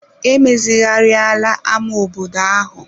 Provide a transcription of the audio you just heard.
E mezigharịala ama obodo ahụ.